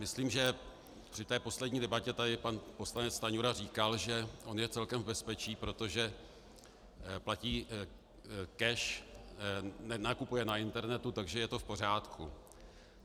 Myslím, že při té poslední debatě tady pan poslanec Stanjura říkal, že on je celkem v bezpečí, protože platí cash, nakupuje na internetu, takže je to v pořádku.